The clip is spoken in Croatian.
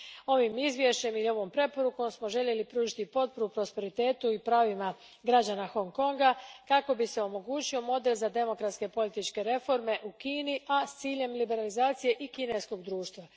Ovim izvješćem i ovom preporukom smo željeli pružiti potporu prosperitetu i pravima građana Hong Konga kako bi se omogućio model za demokratske i političke reforme u Kini, a s ciljem liberalizacije i kineskog društva.